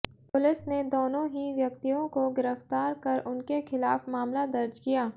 police ने दोनों ही व्यक्तियों को गिरफ्तार कर उनके खिलाफ मामला दर्ज किया